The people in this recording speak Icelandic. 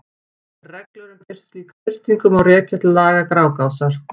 Reglur um slíka birtingu má rekja til laga Grágásar.